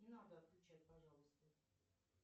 не надо отключать пожалуйста